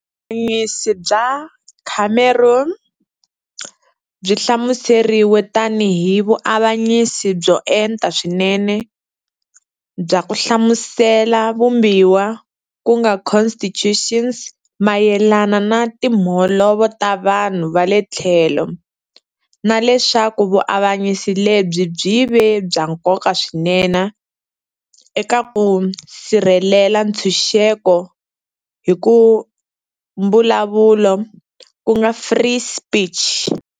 Vuavanyisi bya Cameron byi hlamuseriwe tani hi vuavanyisi "byo enta swinene" bya ku hlamusela vumbiwa ku nga Constitution's mayelana na timholovo ta vanhu va le tlhelo, na leswaku vuavanyisi lebyi byi ve "bya nkoka swinene" eka ku sirhelela ntshunxeko hi ku mbulavulo ku nga free speech.